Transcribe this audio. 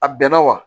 A bɛnna wa